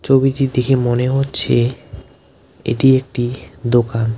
ছবিটি দেখে মনে হচ্ছে এটি একটি দোকান .